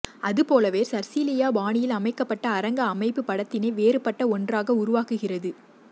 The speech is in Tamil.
அது போலவே சர்ரியலிச பாணியில் அமைக்கபட்ட அரங்க அமைப்பு படத்தினை வேறுபட்ட ஒன்றாக உருவாக்குகிறது